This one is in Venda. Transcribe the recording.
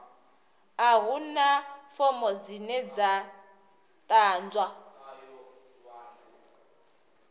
a huna fomo dzine dza ḓadzwa